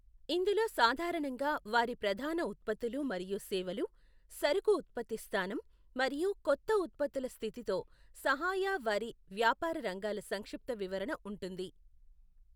ఇందులో సాధారణంగా వారి ప్రధాన ఉత్పత్తులు మరియు సేవలు, సరుకు ఉత్పత్తి స్థానం, మరియు కొత్త ఉత్పత్తుల స్థితితో సహాయ వారి వ్యాపార రంగాల సంక్షిప్త వివరణ ఉంటుంది.